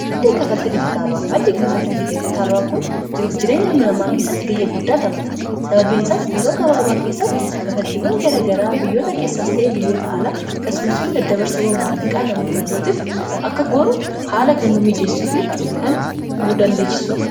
maddei kkafaltii dijitaala'a maddii ka kafaltij dijitaala'aa kun jiruuf jireenya almanamaa keessatti gahee guddaa taphata sababeensaas yeroo gabaabaa keessatti kafaltiiwwan gara garaa biyyoota keessaas ta'ee biyyoota alaa kasumasmoo dadda barsawwan maallaqaa namoota birootiif akka goonu haala kan nu miijeessuu fi kan nu dandeechisuudha